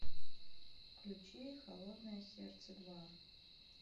включи холодное сердце два